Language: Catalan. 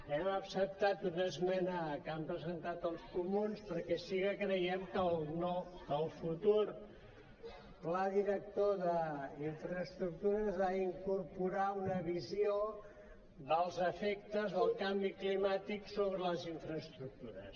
hem acceptat una esmena que han presentat els comuns perquè sí que creiem que el futur pla director d’infraestructures ha d’incorporar una visió dels efectes del canvi climàtic sobre les infraestructures